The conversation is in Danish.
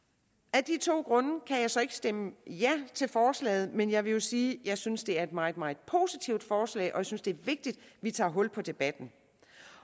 af de to grunde kan jeg så ikke stemme ja til forslaget men jeg vil sige at jeg synes det er et meget meget positivt forslag og jeg synes det er vigtigt at vi tager hul på debatten